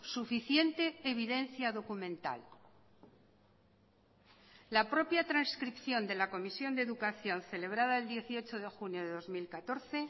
suficiente evidencia documental la propia trascripción de la comisión de educación celebrada el dieciocho de junio de dos mil catorce